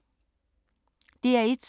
DR1